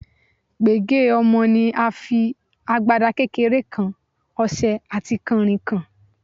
Pègé ọmọ ni a fi, agbada kékeré kan, ọṣẹ àti kànrìnkàn.